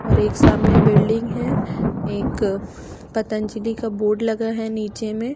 और एक सामने बिल्डिंग है एक पतंजलि का बोर्ड लगा है नीचे में--